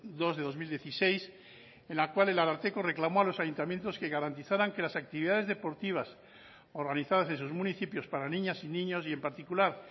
dos barra dos mil dieciséis en la cual el ararteko reclamó a los ayuntamientos que garantizaran que las actividades deportivas organizadas en sus municipios para niñas y niños y en particular